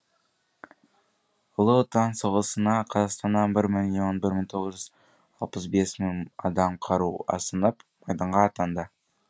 ұлы отан соғысына қазақстаннан бір миллион бір мың тоғыз жүз алпыс бес мың адам қару асынып майданға атанды